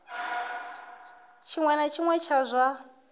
tshiṅwe na tshiṅwe tsha zwa